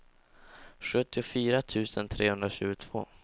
sjuttiofyra tusen trehundratjugotvå